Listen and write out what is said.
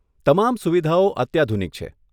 તમામ સુવિધાઓ અત્યાધુનિક છે.